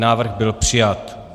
Návrh byl přijat.